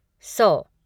सौ